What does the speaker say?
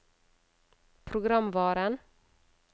programvaren